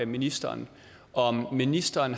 ministeren om ministeren